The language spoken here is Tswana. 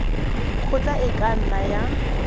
kgotla e ka nna ya